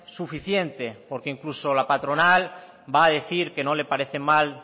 suficiente porque incluso la patronal va a decir que no le parecen mal